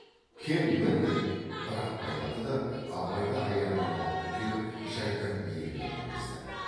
кел мін деп бір ақ байлады да абайды аяғынан алып көтеріп жайдақ биеге мінгізді